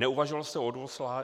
Neuvažoval jste o